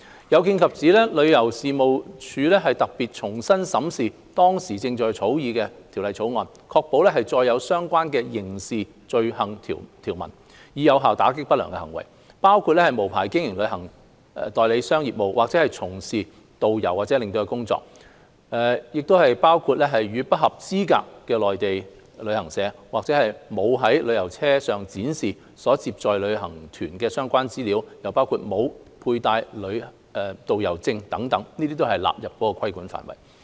有見及此，旅遊事務署特別重新審視當時正在草擬中的《條例草案》，確保載有相關的刑事罪行條文，以有效打擊不良行為，包括無牌經營旅行代理商業務，或者從事導遊或領隊工作、與不合資格的內地旅行社合作、沒有在旅遊車上展示所接載旅行團的相關資料、沒有配戴導遊證等，這些均會被納入規管範圍。